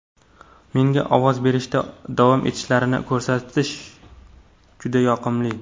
Menga ovoz berishda davom etishlarini ko‘rish juda yoqimli.